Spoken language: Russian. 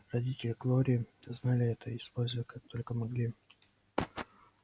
родители глории знали это и использовали как только могли